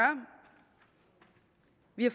vi har